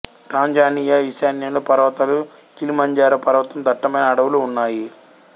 Tanzania ఈశాన్యంలో పర్వతాలు Kilimanjaro పర్వతం దట్టమైన అడవులు ఉన్నాయి